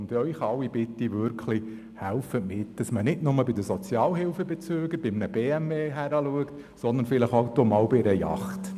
Sie alle bitte ich wirklich, helfen Sie mit, damit man nicht nur bei Sozialhilfebezügern bei einem BMW hinschaut, sondern vielleicht auch bei einer Yacht.